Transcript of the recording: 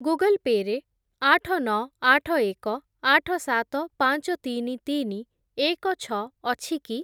Google Pay' ରେ ଆଠ, ନଅ, ଆଠ, ଏକ, ଆଠ, ସାତ, ପାଞ୍ଚ, ତିନି, ତିନି, ଏକ, ଛଅ ଅଛି କି?